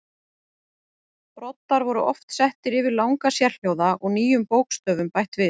Broddar voru oft settir yfir langa sérhljóða og nýjum bókstöfum bætt við.